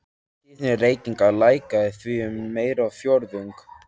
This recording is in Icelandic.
Tíðni reykinga lækkaði því um meira en fjórðung.